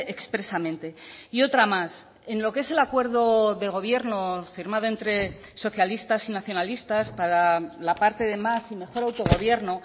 expresamente y otra más en lo que es el acuerdo de gobierno firmado entre socialistas y nacionalistas para la parte de más y mejor autogobierno